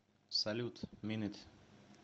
салют мин ит